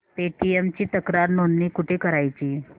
Paytm ची तक्रार नोंदणी कुठे करायची